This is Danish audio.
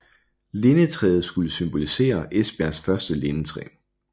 Lindetræet skulle symbolisere Esbjergs første lindetræ